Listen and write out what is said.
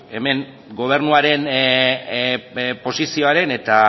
hemen gobernuaren posizioaren eta